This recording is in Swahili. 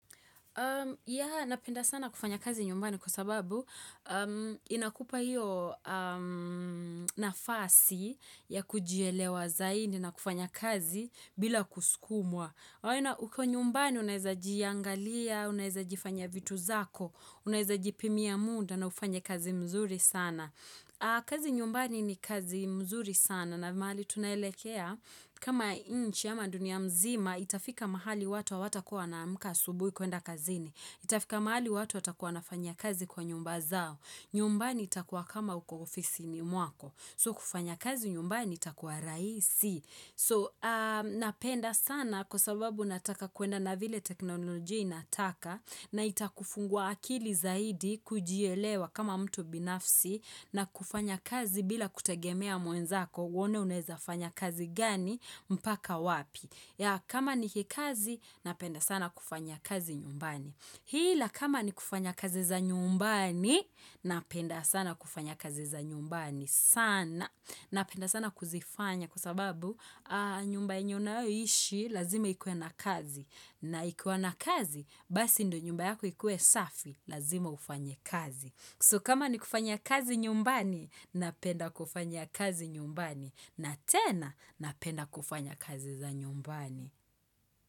Ya, napenda sana kufanya kazi nyumbani kwa sababu inakupa hiyo nafasi ya kujielewa zaidi na kufanya kazi bila kusukumwa. Huko nyumbani unaweza jiangalia, unaeza jifanyia vitu zako, unaweza jipimia muda na ufanye kazi mzuri sana. Kazi nyumbani ni kazi mzuri sana na mahali tunaelekea kama nchi ama dunia mzima itafika mahali watu hawatakuwa wanaamka asubuhi kuenda kazini. Itafika mahali watu watakuwa wanafanyia kazi kwa nyumba zao. Nyumbani itakuwa kama uko ofisi ni mwako. So kufanya kazi nyumbani itakuwa rahisi. So napenda sana kwa sababu nataka kwenda na vile teknolojia inataka na itakufungua akili zaidi kujielewa kama mtu binafsi na kufanya kazi bila kutegemea mwenzako uone unawezafanya kazi gani mpaka wapi. Ya kama ni kikazi, napenda sana kufanya kazi nyumbani. Hila kama ni kufanya kazi za nyumbani, napenda sana kufanya kazi za nyumbani sana. Napenda sana kuzifanya kusababu nyumba unayoishi lazima ikuwe na kazi. Na ikiwa na kazi, basi ndio nyumba yako ikuwe safi, lazima ufanye kazi. So kama ni kufanya kazi nyumbani, napenda kufanya kazi nyumbani na tena napenda kufanya kazi za nyumbani.